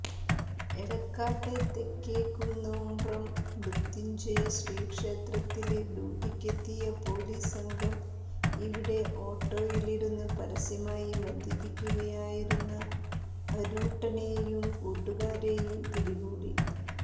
എടക്കാട്ടെ തെക്കേക്കുന്നുബ്രം മൃത്യുഞ്ജയശ്രീ ക്ഷേത്രത്തില് ഡ്യൂട്ടിക്കെത്തിയ പോലീസ് സംഘം ഇവിടെ ഓട്ടോയിലിരുന്ന് പരസ്യമായി മദ്യപിക്കുകയായിരുന്ന അരൂട്ടനെയും കുട്ടുകാരെയും പിടികൂടി